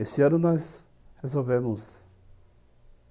Esse ano nós resolvemos.